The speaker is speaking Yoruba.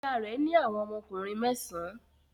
Ìyá rẹ̀ ní àwọn ọmọkùnrin mẹ́sàn-án.